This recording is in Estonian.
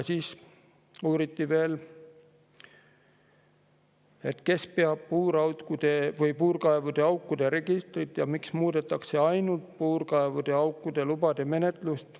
Siis uuriti veel, kes peab puurkaevude ja -aukude registrit ja miks muudetakse ainult puurkaevude ja -aukude lubade menetlust.